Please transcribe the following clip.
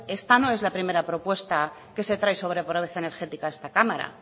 esta no es la primera propuesta que se trae sobre pobreza energética a esta cámara